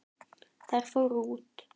Þær fóru út.